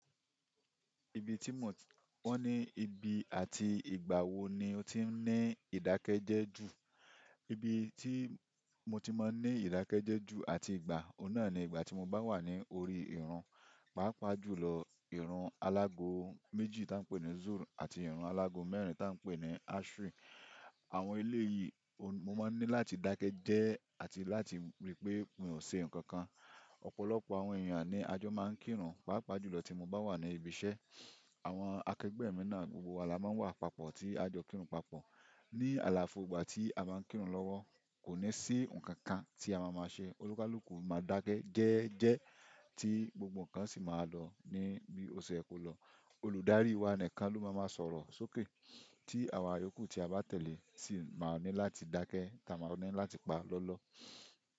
Ibi tí mọ, wọ́n ní ibi àti ìgbà wo ni o ti ń ní ìdákẹ́jẹ́ẹ́ jù? Ibi tí mo ti máa ń ní ìdákẹ́jẹ́ẹ́ jù àti ìgbà, òun náà ni ìgbà tí mo bá wà ní orí ìrun, pàápàá jùlọ ìrun alágo méjì tá ń pe ní Zul àti ìrun alágo mẹ́rin tá ń pe ní Ashri. Àwọn elé yìí mo máa ń ní láti dákẹ́ jẹ́ẹ́ àti láti rí pé mi ò ṣe nǹkan kan. Ọ̀pọ̀lọpọ̀ àwọn èèyàn ní àjọ máa ń kírun, pàápàá jùlọ tí mo bá wà ní ibi iṣẹ́. Àwọn akẹgbẹ́ mi náà gbogbo wa la máa ń wà papọ̀ tí a jọ kírun papọ̀. Ni àlàfo ìgbà tí a máa ń kírun lọ́wọ́, kò ní sí ǹkan kan tí a máa máa ṣe. Olúkalùkù máa dákẹ́ jẹ́ẹ́jẹ́ẹ́ tí gbogbo ǹkan sì máa lọ ní bí ó ṣe yẹ kó lọ. Olùdarí wa nìkan ló máa máa sọ̀rọ̀ sókè tí àwa yòkù tí a bá tẹ̀lé sì máa ní láti dákẹ́ tá a máa ní láti pa lọ́lọ́.